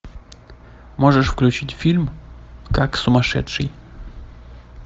можешь включить фильм как сумасшедший